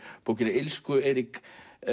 bókina illsku Eirík